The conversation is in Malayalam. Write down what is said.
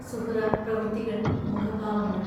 സുഹ്റാ പ്രവൃത്തികൾ മുഖഭാവങ്ങൾ...